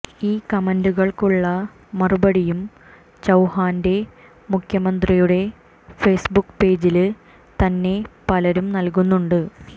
ഈ കമന്റുകള്ക്കുള്ള മറുപടിയും ചൌഹാന്റെ മുഖ്യമന്ത്രിയുടെ ഫേസ് ബുക്ക് പേജില് തന്നെ പലരും നല്കുന്നുണ്ട്